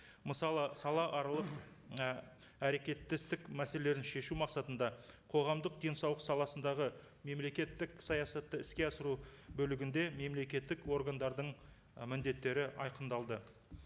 мысалы салааралық і әрекеттестік мәселелерін шешу мақсатында қоғамдық денсаулық саласындағы мемлекеттік саясатты іске асыру бөлігінде мемлекеттік органдардың ы міндеттері айқындалды